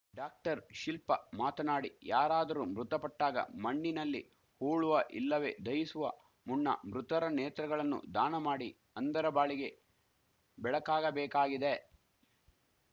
doctor Shilpa ಮಾತನಾಡಿ ಯಾರಾದರೂ ಮೃತಪಟ್ಟಾಗ ಮಣ್ಣಿನಲ್ಲಿ ಹೂಳುವ ಇಲ್ಲವೇ ದಹಿಸುವ ಮುಣ್ಣ ಮೃತರ ನೇತ್ರಗಳನ್ನು ದಾಣ ಮಾಡಿ ಅಂಧರ ಬಾಳಿಗೆ ಬೆಳಕಾಗಬೇಕಾಗಿದೆ